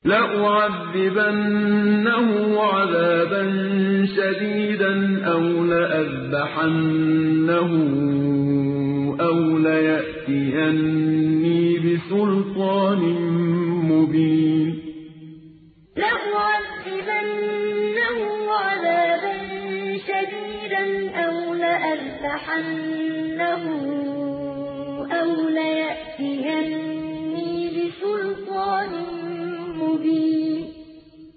لَأُعَذِّبَنَّهُ عَذَابًا شَدِيدًا أَوْ لَأَذْبَحَنَّهُ أَوْ لَيَأْتِيَنِّي بِسُلْطَانٍ مُّبِينٍ لَأُعَذِّبَنَّهُ عَذَابًا شَدِيدًا أَوْ لَأَذْبَحَنَّهُ أَوْ لَيَأْتِيَنِّي بِسُلْطَانٍ مُّبِينٍ